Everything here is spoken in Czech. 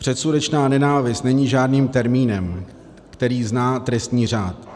Předsudečná nenávist není žádným termínem, který zná trestní řád.